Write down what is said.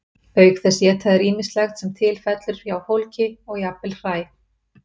auk þess éta þeir ýmislegt sem til fellur hjá fólki og jafnvel hræ